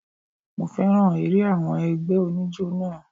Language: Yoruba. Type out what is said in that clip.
Mo féràn eré àwọn ẹgbẹ́ oníjó náà.